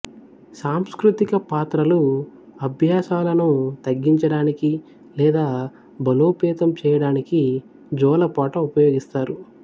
సాంస్కృతిక పాత్రలు అభ్యాసాలను తగ్గించడానికి లేదా బలోపేతం చేయడానికి జోల పాట ఉపయోగిస్తారు